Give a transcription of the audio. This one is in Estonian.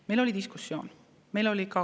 Meil oli diskussioon.